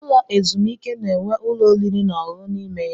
Ụlọ ezumike na-enwe ụlọ oriri na ọṅụṅụ n'ime ya.